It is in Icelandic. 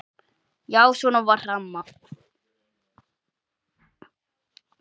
Já, svona var amma.